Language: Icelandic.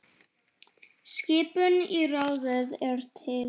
Skipun í ráðið er til